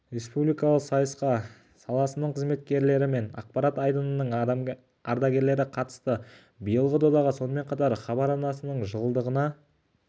республикалық сайысқа саласының қызметкерлері мен ақпарат айдынының ардагерлері қатысты биылғы дода сонымен қатар хабар арнасының жылдығына